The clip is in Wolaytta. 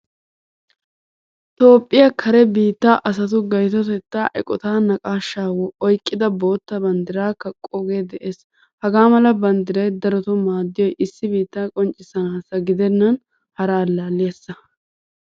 Toophphiyaa kare biittaa asatu gaytottetta eqqota naaqqashsha oyqqida boottaa banddiray kaqqooge de'ees. Hagaamala banddiray darotto maadiyoy issi biittaa qoncisanassi gidenan hara allaliyasa.